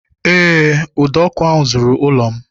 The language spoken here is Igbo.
Eé, ụdọ ọkụ ahụ zuru ụlọ m